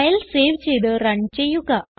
file save ചെയ്ത് run ചെയ്യുക